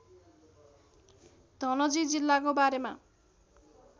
धनजी जिल्लाको बारेमा